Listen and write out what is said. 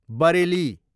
Bareilly